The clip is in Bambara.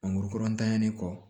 Mangoro ntanyalen kɔ